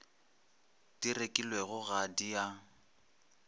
di rekilwego ga di a